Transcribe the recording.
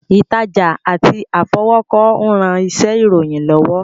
Ìtajà àti àfọwọ́kọ ń ran iṣẹ́ ìròyìn lọ́wọ́